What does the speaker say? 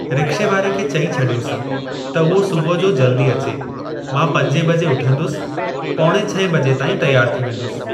रिक्शेवारे खे चई छड॒योसि त उहो सुबुह जो जल्दी अचे। मां पंजे बजे उथंदुसि पौणे छहें बजे ताईं तियारु थी वेंदुसि।